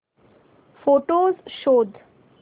photos शोध